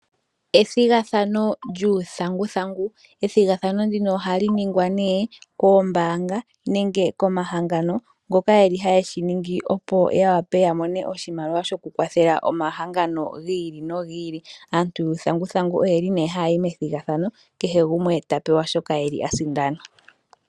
Ethigathano lyuu thanguthangu ,ethigathano ndino oha li ningwa nee koombaanga nenge koma hangano ngoka yeli haye shiningi opo ya wape yamone oshimaliwa shoku kwathela omahangano giili no giili, aantu yuu thanguthangu oye li nee haa yi methigathano kehe gumwe tapewa shoka eli asindana.